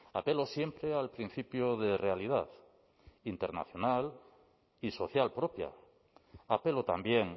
apelo siempre al principio de realidad internacional y social propia apelo también